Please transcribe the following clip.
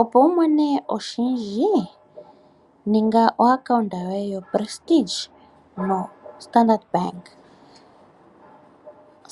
Opo wumone oshindji ninga okambo koye ko Prestige pamwe noStandard Bank.